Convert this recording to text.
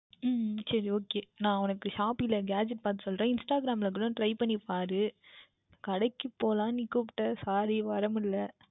உம் சரி Okay நான் உனக்கு Gadget பார்த்து சொல்லுகின்றேன் Instagram யில் கூட Try பண்ணி பார் கடைக்கு போகலாம் என்று நீ கூப்பிட்டாய் Sorry வர முடியவில்லை